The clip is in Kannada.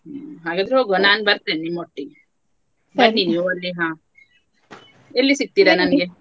ಹಾಗಾದ್ರೆ ಹೋಗುವ ನಾನ್ ಬರ್ತೇನೆ ನಿಮ್ಮ ಒಟ್ಟಿಗೆ ಬನ್ನಿ ನೀವು ಅಲ್ಲಿ ಹಾ ಎಲ್ಲಿ ಸಿಕ್ತಿರ ನನ್ಗೆ?